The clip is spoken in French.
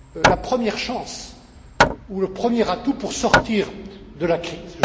la première chance ou le premier atout pour sortir de la crise.